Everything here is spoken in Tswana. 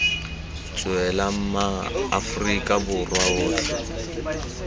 tswela ma aforika borwa otlhe